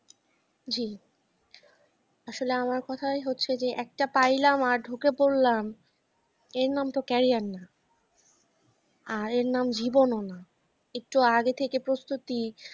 জী আসলে আমার কথায় হচ্ছে যে একটা পাইলাম আর ঢুকে পড়লাম এর নামে তো career না, আর এর নামে জীবনও না একটু আগে থেকে প্রস্তুতি